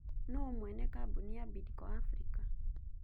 Nũũ mwene kambuni ya Bidco Africa?